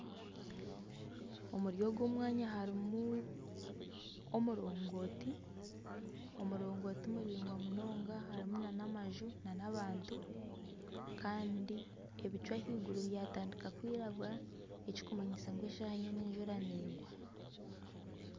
Omuri ogu mwanya harimu omurogooti. Omurogooti muraingwa munonga harimu nana amaju nana abantu kandi ebicu ahaiguru byatandiika kwirangura ekikumanyisa ngu eshaaha yoona enjura negwa.